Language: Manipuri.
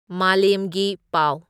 ꯃꯂꯦꯝꯒꯤ ꯄꯥꯎ